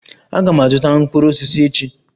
Aga m azụta mkpụrụ osisi echi.